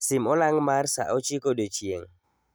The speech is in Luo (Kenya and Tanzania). Sim olang' mar sa ochiko odiechieng'